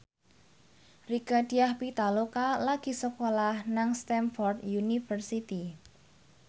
Rieke Diah Pitaloka lagi sekolah nang Stamford University